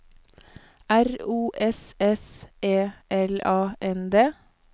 R O S S E L A N D